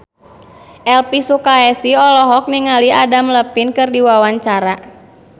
Elvi Sukaesih olohok ningali Adam Levine keur diwawancara